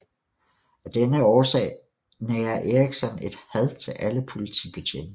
Af denne årsag nærer Erikson et had til alle politibetjente